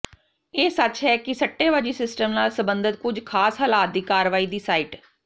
ਇਹ ਸੱਚ ਹੈ ਕਿ ਸੱਟੇਬਾਜ਼ੀ ਸਿਸਟਮ ਨਾਲ ਸਬੰਧਤ ਕੁਝ ਖਾਸ ਹਾਲਾਤ ਦੀ ਕਾਰਵਾਈ ਦੀ ਸਾਈਟ